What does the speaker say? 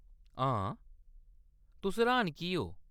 हां, तुस र्‌हान की ओ ?